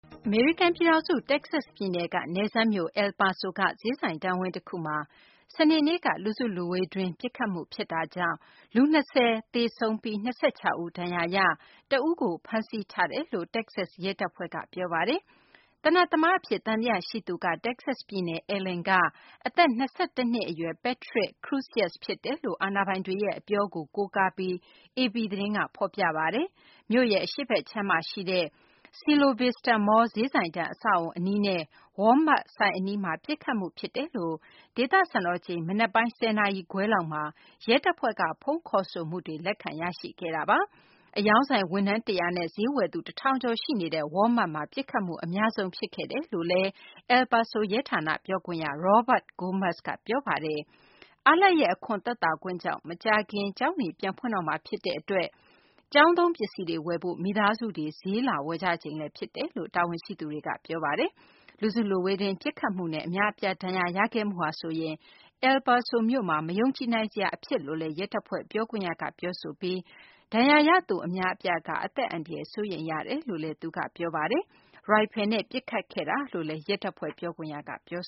အမေရိကန် ပြည်ထောင်စု တက္ကဆက် ပြည်နယ်က နယ်စပ်မြို့ El Paso က ဈေးဆိုင်တန်းဝင်း တခုမှာ စနေနေ့က လူစုလူဝေးတွင်း ပစ်ခတ်မှု ဖြစ်တာကြောင့် လူ ၂၀ ဦး သေဆုံးပြီး ၂၆ ဦး ဒဏ်ရာရရှိပြီး တဦးကို ဖမ်းဆီးထားတယ်လို့ တက္ကဆက် ရဲတပ်ဖွဲ့က ပြောပါတယ်။ သေနတ်သမား အဖြစ် သံသယ ရှိသူက တက္ကဆက် ပြည်နယ် Allen က အသက် ၂၁ နှစ် အရွယ် Patrick Crusius ဖြစ်တယ်လို့ အာဏာပိုင်တွေရဲ့ အပြောကို ကိုးကားပြီး AP သတင်းက ဖော်ပြပါတယ်။ မြို့ရဲ့ အရှေ့ဘက်ခြမ်းမှာ ရှိတဲ့ Cielo Vista Mall ဈေးဆိုင်တန်း အဆောက်အအုံ အနီးနဲ့ Walmart ဆိုင်အနီးမှာ ပစ်ခတ်မှု ဖြစ်တယ်လို့ ဒေသစံတော်ချိန် မနက်ပိုင်း ၁၀ နာရီခွဲ လောက်မှာ ရဲတပ်ဖွဲ့က ဖုန်းခေါ်ဆိုမှုတွေ လက်ခံရရှိခဲ့တာပါ။ အရောင်းဆိုင် ဝန်ထမ်း ၁၀၀ နဲ့ ဈေးဝယ်သူ ၁၀၀၀ ကျော်ရှိနေတဲ့ Walmart မှာ ပစ်ခတ်မှု အများဆုံး ဖြစ်ခဲ့တယ်လို့လည်း El Paso ရဲဌာန ပြောခွင့်ရ Robert Gomez က ပြောပါတယ်။ အားလပ်ရက် အခွန်သက်သာခွင့်ကြောင့် မကြာခင် ကျောင်းတွေ ပြန်ဖွင့်တော့မှာ ဖြစ်တဲ့ အတွက် ကျောင်းသုံး ပစ္စည်းတွေ ဝယ်ဖို့ မိသားစုတွေ ဈေးလာဝယ်ကြချိန်လည်း ဖြစ်တယ်လို့ တာဝန်ရှိသူတွေက ပြောပါတယ်။ လူစုလူဝေးတွင်း ပစ်ခတ်မှုနဲ့ အများအပြား ဒဏ်ရာရခဲ့မှုဟာဆိုရင် El Paso မြို့မှာ မယုံကြည်နိုင်စရာ အဖြစ်လို့လည်း ရဲတပ်ဖွဲ့ ပြောခွင့်ရက ပြောဆိုပြီး ဒဏ်ရာရသူ အများအပြားက အသက်အန္တရာယ် စိုးရိမ်ရတယ်လို့လည်း သူက ပြောပါတယ်။ ရိုင်ဖယ်နဲ့ ပစ်ခတ်ခဲ့တာလို့လည်း ရဲတပ်ဖွဲ့ ပြောခွင့်ရက ပြော